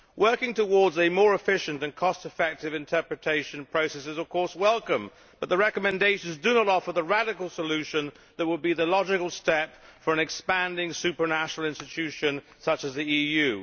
Working towards a more efficient and cost effective interpretation process is of course welcome, but the recommendations do not offer the radical solution which would be the logical step for an expanding supranational institution such as the EU.